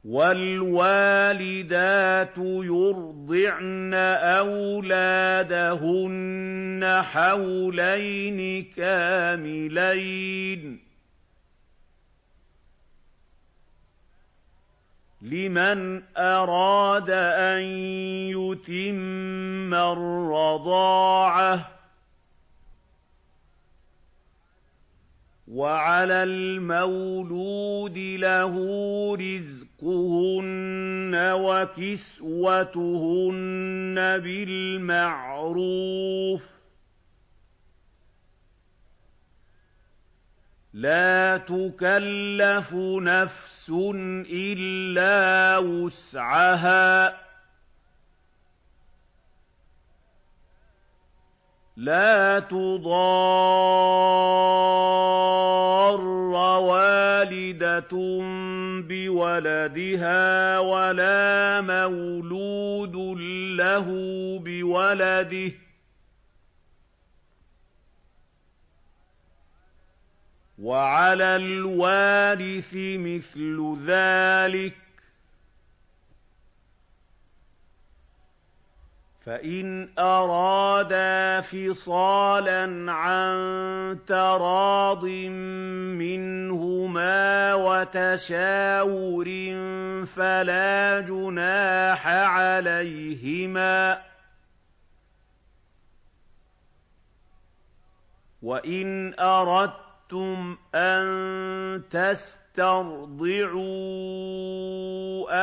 ۞ وَالْوَالِدَاتُ يُرْضِعْنَ أَوْلَادَهُنَّ حَوْلَيْنِ كَامِلَيْنِ ۖ لِمَنْ أَرَادَ أَن يُتِمَّ الرَّضَاعَةَ ۚ وَعَلَى الْمَوْلُودِ لَهُ رِزْقُهُنَّ وَكِسْوَتُهُنَّ بِالْمَعْرُوفِ ۚ لَا تُكَلَّفُ نَفْسٌ إِلَّا وُسْعَهَا ۚ لَا تُضَارَّ وَالِدَةٌ بِوَلَدِهَا وَلَا مَوْلُودٌ لَّهُ بِوَلَدِهِ ۚ وَعَلَى الْوَارِثِ مِثْلُ ذَٰلِكَ ۗ فَإِنْ أَرَادَا فِصَالًا عَن تَرَاضٍ مِّنْهُمَا وَتَشَاوُرٍ فَلَا جُنَاحَ عَلَيْهِمَا ۗ وَإِنْ أَرَدتُّمْ أَن تَسْتَرْضِعُوا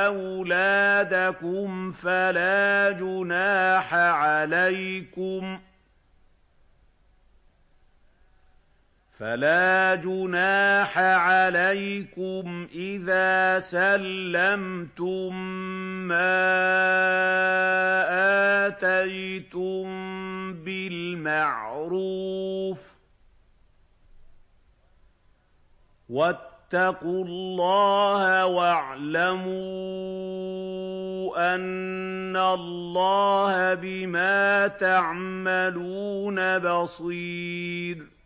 أَوْلَادَكُمْ فَلَا جُنَاحَ عَلَيْكُمْ إِذَا سَلَّمْتُم مَّا آتَيْتُم بِالْمَعْرُوفِ ۗ وَاتَّقُوا اللَّهَ وَاعْلَمُوا أَنَّ اللَّهَ بِمَا تَعْمَلُونَ بَصِيرٌ